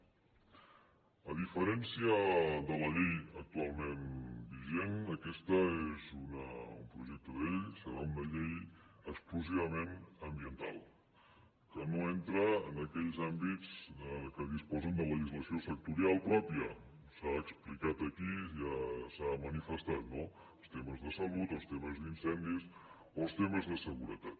a diferència de la llei actualment vigent aquest és un projecte de llei serà una llei exclusivament ambiental que no entra en aquells àmbits que disposen de legislació sectorial pròpia s’ha explicat aquí ja s’ha manifestat no els temes de salut o els temes d’incendis o els temes de seguretat